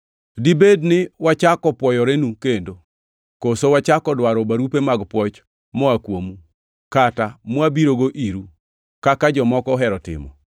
Dibed ni wachako pwoyorenu kendo? Koso wachako dwaro barupe mag pwoch moa kuomu, kata mwabirogo iru, kaka jomoko ohero timo?